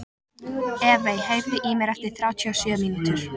Evey, heyrðu í mér eftir þrjátíu og sjö mínútur.